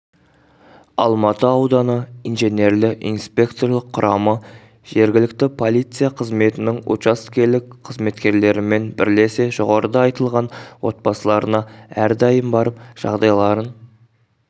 алматы ауданы инженерлі-инспекторлық құрамы жергілікті полиция қызметінің учаскелік қызметкерлерімен бірлесе жоғарыда айтылған отбасыларына әрдайым барып жағдайларын